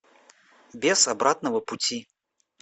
без обратного пути